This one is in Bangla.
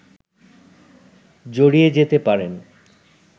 জড়িয়ে যেতে পারেন